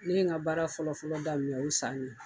Ne ye n ka baara fɔlɔfɔlɔ daminɛ u san.